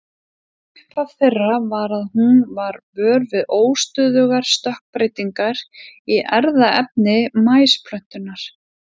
upphaf þeirra var að hún varð vör við óstöðugar stökkbreytingar í erfðaefni maísplöntunnar